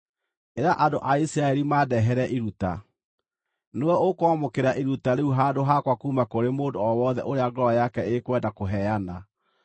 “Ĩra andũ a Isiraeli mandehere iruta. Nĩwe ũkwamũkĩra iruta rĩu handũ hakwa kuuma kũrĩ mũndũ o wothe ũrĩa ngoro yake ĩkwenda kũheana.